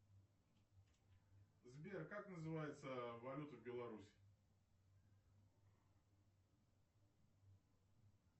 сбер как называется валюта в беларуси